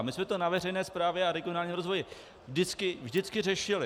A my jsme to na veřejné správě a regionálním rozvoji vždycky řešili.